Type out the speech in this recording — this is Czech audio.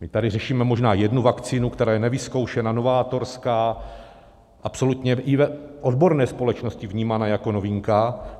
My tady řešíme možná jednu vakcínu, která je nevyzkoušená, novátorská, absolutně i v odborné společnosti vnímaná jako novinka.